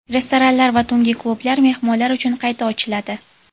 restoranlar va tungi klublar mehmonlar uchun qayta ochiladi.